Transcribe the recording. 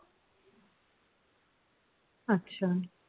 আচ্ছা